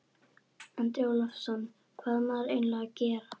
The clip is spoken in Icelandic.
Andri Ólafsson: Hvað á maður eiginlega að gera?